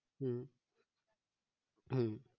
হম হম